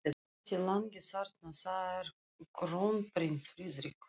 Þessi langi þarna- það er krónprins Friðrik.